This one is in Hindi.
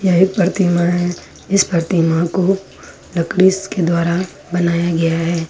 एक प्रतिमा है इस प्रतिमा को लकड़ी के द्वारा बनाया गया है।